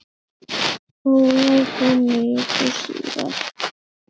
Ólafur kom viku síðar.